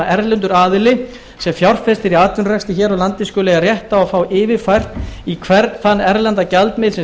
erlendur aðili sem fjárfestir í atvinnurekstri hér á landi skuli eiga rétt á að fá yfirfært í hvern þann erlenda gjaldmiðil sem